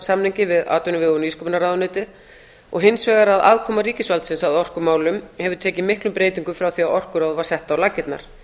árangursstjórnarsamningi við atvinnuvega og nýsköpunarráðuneytið og hins vegar að aðkoma ríkisvaldsins að orkumálum hefur tekið miklum breytingum frá því að orkuráð var sett á laggirnar